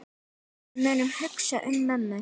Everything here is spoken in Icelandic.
Við munum hugsa um mömmu.